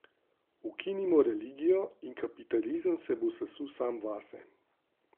Ukinimo religijo in kapitalizem se bo sesul sam vase.